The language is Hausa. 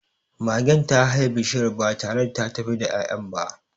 Magen ta haye bishiyar ba tare da ta tafi da ya'yan ba.